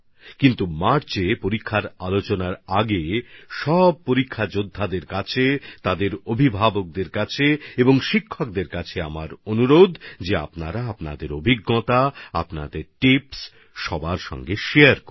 কিন্তু মার্চে আয়োজিত পরীক্ষা পে চর্চার আগে আমার সমস্ত একজাম ওয়ারিয়র মাবাবা শিক্ষকদের প্রতি অনুরোধ হচ্ছে আপনাদের অভিজ্ঞতা আপনাদের টিপস অবশ্যই শেয়ার করবেন